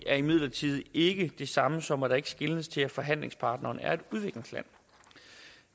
er imidlertid ikke det samme som at der ikke skeles til at forhandlingspartneren er et udviklingsland